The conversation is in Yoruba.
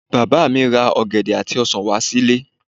Bàbá mi ra ọ̀gẹ̀dẹ̀ àti ọsàn wá sí ilé